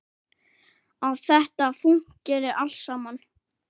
Að þetta fúnkeri allt saman.